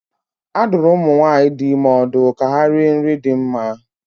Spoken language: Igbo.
A dụrụ ụmụ nwaanyị dị ime ọdụ ka ha rie nri dị mma.